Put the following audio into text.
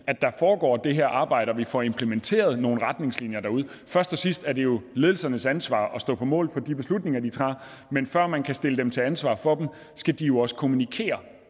at der foregår det her arbejde og at vi får implementeret nogle retningslinjer derude først og sidst er det jo ledelsernes ansvar at stå på mål for de beslutninger de tager men før man kan stille dem til ansvar for dem skal de jo også kommunikere